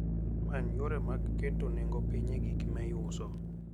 Many yore mag keto nengo piny e gik miuso.